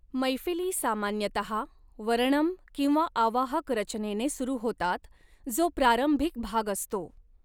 मैफिली सामान्यतहा वर्णम किंवा आवाहक रचनेने सुरू होतात जो प्रारंभिक भाग असतो.